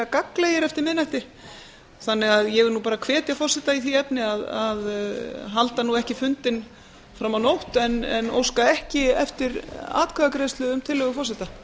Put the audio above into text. gagnlegir eftir miðnætti þannig að ég hvet forseta í því efni að halda ekki fundinn fram á nótt en óska ekki eftir atkvæðagreiðslu um tillögu forseta